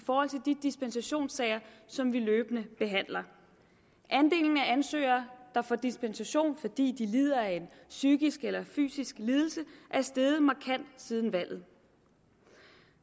de dispensationssager som vi løbende behandler andelen af ansøgere der får dispensation fordi de lider af en psykisk eller fysisk lidelse er steget markant siden valget